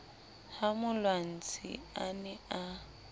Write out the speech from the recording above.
ha molwantsi a ne a